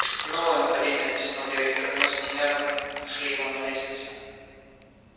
новое нападение объяснил директор мы с минервой нашли его на лестнице